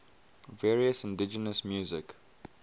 various indigenous music